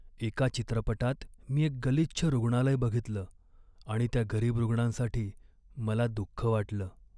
एका चित्रपटात मी एक गलिच्छ रुग्णालय बघितलं आणि त्या गरीब रुग्णांसाठी मला दुख्ख वाटलं.